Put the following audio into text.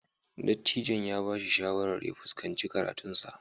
Dattijon ya ba shi shawarar ya fuskanci karatunsa.